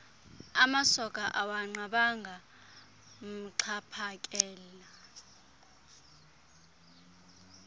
amasoka akanqabanga amxhaphakele